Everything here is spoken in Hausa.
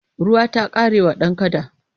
Ruwa ta ƙare wa dan kada.